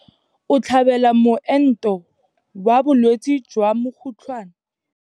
O tlhabela moento wa bolwetse jwa mokgotlhwane.